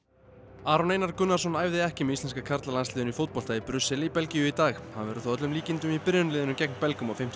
Aron Einar Gunnarsson æfði ekki með íslenska karlalandsliðinu í fótbolta í Brussel í Belgíu í dag hann verður þó að öllum líkindum í byrjunarliðinu gegn Belgum á fimmtudag